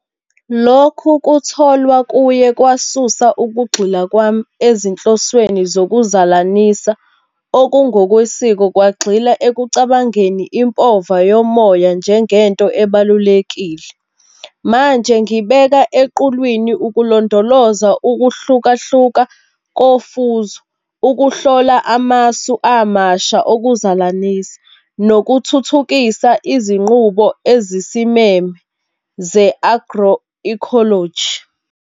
Lokhu kutholwa kuye kwasusa ukugxila kwami ezinhlosweni zokuzalanisa okungokwesiko, kwagxila ekucabangeni impova yomoya njengento ebalulekile. Manje ngibeka equlwini ukulondoloza ukuhlukahluka kofuzo, ukuhlola amasu amasha okuzalanisa, nokuthuthukisa izinqubo ezisimeme ze-agroecology.